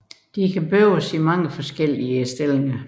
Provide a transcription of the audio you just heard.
De kan bøjes i mange forskellige positioner